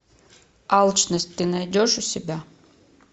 алчность ты найдешь у себя